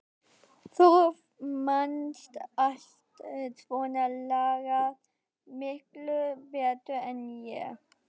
Þú manst allt svona lagað miklu betur en ég.